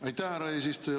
Aitäh, härra eesistuja!